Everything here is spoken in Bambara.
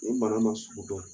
O bana ma sugu dɔn.